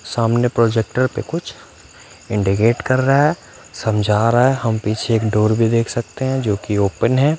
सामने प्रोजेक्टर पे कुछ इंडीगेट कर रहा है समझा रहा है हम पीछे एक डोर भी देख सकते हैं जोकि ओपन है।